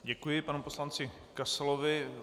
Děkuji panu poslanci Kasalovi.